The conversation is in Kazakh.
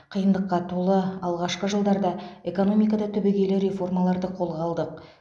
қиындыққа толы алғашқы жылдарда экономикада түбегейлі реформаларды қолға алдық